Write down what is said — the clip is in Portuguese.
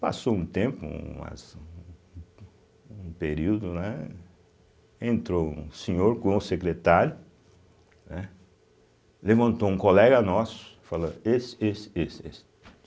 Passou um tempo, umas ummm um período, né, entrou um senhor com o secretário, né, levantou um colega nosso e falou, esse, esse, esse, esse.